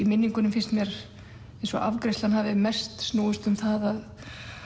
minningunni finnst mér eins og afgreiðslan hafi mest snúist um það